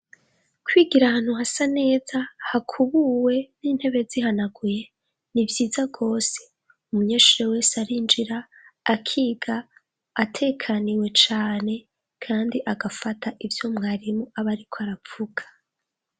Kwigira ahantu hasa neza, hakubuwe, n'intene zihanaguye, ni vyiza gose. Umunyeshure wese arinjira akiga atekaniwe cane, kandi agafata ivyo mwarimu ab'ariko arafata.